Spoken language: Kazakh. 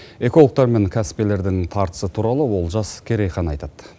экологтар мен кәсіпкерлердің тартысы туралы олжас керейхан айтады